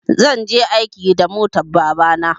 zan je aiki da motan babana